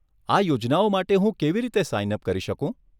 આ યોજનાઓ માટે હું કેવી રીતે સાઈન અપ કરી શકું?